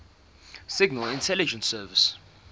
signal intelligence service